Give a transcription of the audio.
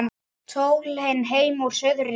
Sólin heim úr suðri snýr